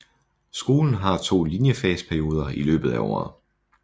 Skolen har to linjefags perioder i løbet af året